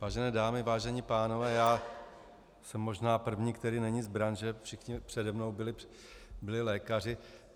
Vážené dámy, vážení pánové, já jsem možná první, který není z branže, všichni přede mnou byli lékaři.